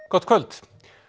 gott kvöld